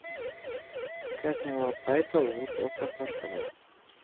Hvernig á að bæta úr og hvað kostar það?